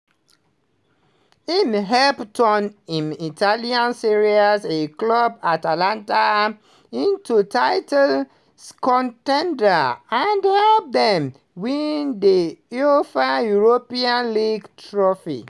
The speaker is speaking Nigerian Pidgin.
im help turn im italian serie a club atalanta into title con ten ders and help dem win di uefa europa league trophy.